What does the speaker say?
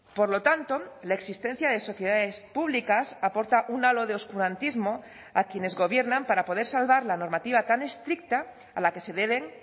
por lo tanto la existencia de sociedades públicas aporta un halo de oscurantismo a quienes gobiernan para poder salvar la normativa tan estricta a la que se deben